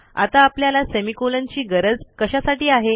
आता आपल्याला semicolonची गरज कशासाठी आहे